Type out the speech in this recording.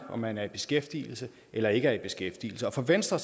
af om man er i beskæftigelse eller ikke er i beskæftigelse og for venstre